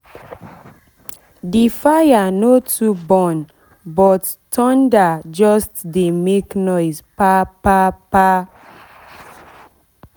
the fire no too burn but thunder just dey make noise pa pa pa